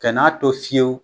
Kɛn'a to fiyewu